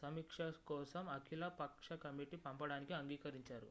సమీక్ష కోసం అఖిల పక్ష కమిటీకి పంపడానికి అంగీకరించారు